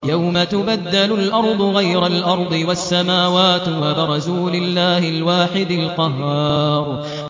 يَوْمَ تُبَدَّلُ الْأَرْضُ غَيْرَ الْأَرْضِ وَالسَّمَاوَاتُ ۖ وَبَرَزُوا لِلَّهِ الْوَاحِدِ الْقَهَّارِ